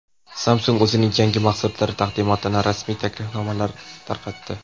Samsung o‘zining yangi mahsulotlari taqdimotiga rasmiy taklifnomalar tarqatdi.